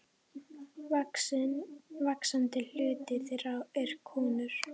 Vaxandi hluti þeirra er konur.